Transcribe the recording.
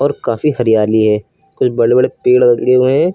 और काफी हरियाली है कुछ बड़े बड़े पेड़ लगे हुए हैं।